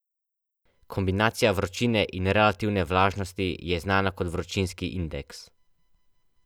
Kombinacija vročine in relativne vlažnosti je znana kot vročinski indeks.